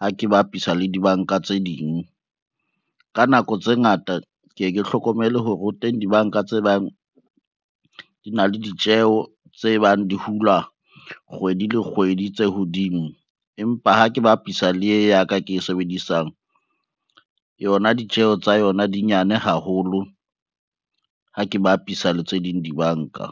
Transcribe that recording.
ha ke bapisa le dibanka tse ding. Ka nako tse ngata ke ye ke hlokomele hore ho teng dibanka tse bang di na le ditjeho tse bang di hula kgwedi le kgwedi tse hodimo. Empa ha ke bapisa le ye ya ka ke e sebedisang, yona ditjeho tsa yona di nyane haholo ha ke bapisa le tse ding dibanka.